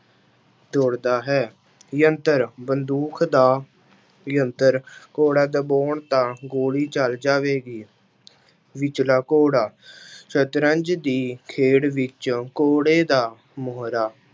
ਦੌੜਦਾ ਹੈ ਯੰਤਰ ਬੰਦੂਕ ਦਾ ਯੰਤਰ ਘੋੜਾ ਦਬਾਉਣ ਤਾਂ ਗੋਲੀ ਚੱਲ ਜਾਵੇਗੀ ਵਿਚਲਾ ਘੋੜਾ ਸਤਰੰਜ ਦੀ ਖੇਡ ਵਿੱਚ ਘੋੜੇ ਦਾ ਮੋਹਰਾ